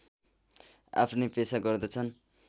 आफ्नै पेसा गर्दछन्